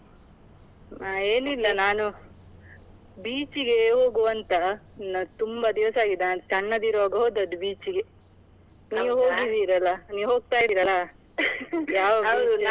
ಹಾ ಏನಿಲ್ಲ beach ಇಗೆ ಹೋಗುವಂತಾ ನಾ ತುಂಬಾ ದಿವಸ ಆಗಿದೆ ಸಣ್ಣದಿರುವಾಗ ಹೋದದ್ದು beach ಇಗೆ. ಹೋಗಿದ್ದಿರಲ್ಲಾ ನೀವ್ ಹೋಗ್ತಾ ಇರಲ್ಲ .